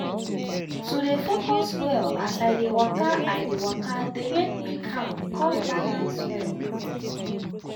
to dey focus well as i dey waka i dey waka dey make me calm con balance well.